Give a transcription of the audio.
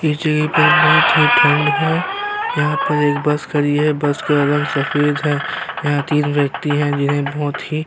इस जगह पर बहुत ही ठंड है। यहाँ पर एक बस खड़ी है। बस का रंग सफेद है। यहाँ पर तीन व्यक्ति हैं। जिन्हैं बहुत ही --